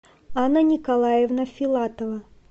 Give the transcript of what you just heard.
анна николаевна филатова